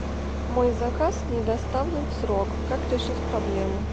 мой заказ не доставлен в срок как решить проблему